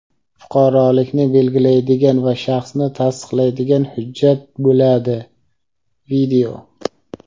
fuqarolikni belgilaydigan va shaxsni tasdiqlaydigan hujjat bo‘ladi.